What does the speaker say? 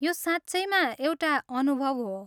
यो साँच्चैमा एउटा अनुभव हो।